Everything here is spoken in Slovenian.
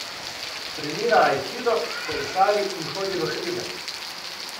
Trenira aikido, kolesari in hodi v hribe.